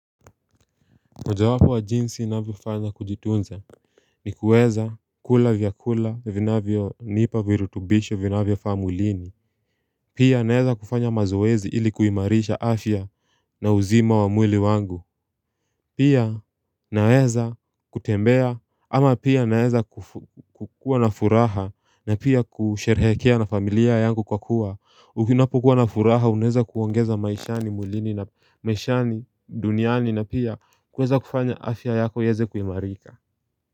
Mojawapo wa jinsi navyofanya kujitunza ni kueza kula vyakula vinavyonipa virutubisho vinavyofaa mwilini Pia naeza kufanya mazoezi ili kuimarisha afya na uzima wa mwili wangu Pia naweza kutembea ama pia naeza kukua na furaha na pia kusherehekea na familia yangu kwa kuwa Ukinapokuwa na furaha unaweza kuongeza maishani mwilini na maishani duniani na pia kuweza kufanya afya yako iweze kuimarika.